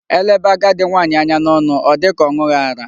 Elebe agadi nwaanyị anya n'ọnụ ọ dị ka ọ ṅụghị ara.